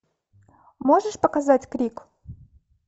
можешь показать крик